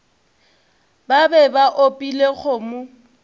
ba be ba opile kgomo